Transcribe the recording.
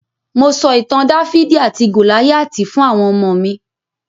Mo sọ ìtàn Dáfídì àti Gòláyátì fún àwọn ọmọ mi.